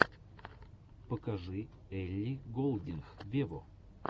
покажи элли голдинг вево